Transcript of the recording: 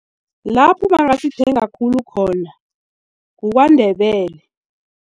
Lapho bangazithenga khulu khona kukwaNdebele.